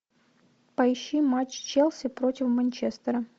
поищи матч челси против манчестера